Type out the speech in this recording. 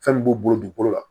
Fɛn min b'u bolo dugukolo la